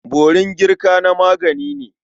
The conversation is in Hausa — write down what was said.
Borin girka na magani ne.